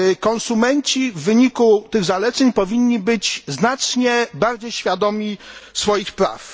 Konsumenci w wyniku tych zaleceń powinni być znacznie bardziej świadomi swoich praw.